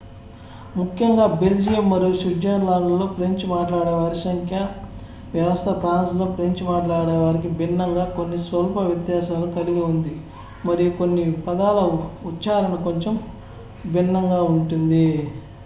ముఖ్యంగా బెల్జియం మరియు స్విట్జర్లాండ్లో ఫ్రెంచ్ మాట్లాడేవారి సంఖ్యా వ్యవస్థ ఫ్రాన్స్లో ఫ్రెంచ్ మాట్లాడేవారికి భిన్నంగా కొన్ని స్వల్ప వ్యత్యాసాలు కలిగి ఉంది మరియు కొన్ని పదాల ఉచ్చారణ కొంచెం భిన్నంగా ఉంటుంది